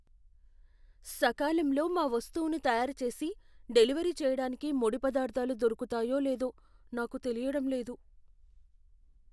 సకాలంలో మా వస్తువును తయారు చేసి డెలివరీ చేయడానికి ముడి పదార్థాలు దొరుకుతాయో లేదో నాకు తెలియడం లేదు.